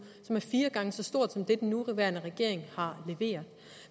det var fire gange så stort som det den nuværende regering har leveret